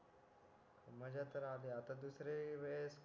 मझ्या तर अली आता दुसरी वेळेस